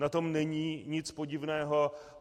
Na tom není nic podivného.